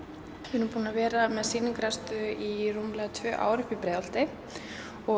við erum búin að vera með sýningaraðstöðu í rúmlega tvö ár uppi í Breiðholti og